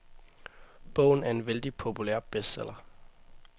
Bogen er en vældig populær bestseller.